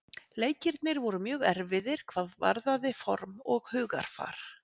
Leikirnir voru mjög erfiðir hvað varðaði form og hugarfar.